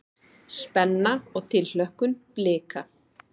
Spenna og tilhlökkun Blika